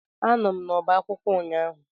Anọ m n'ọba akwụkwọ ụnyaahụ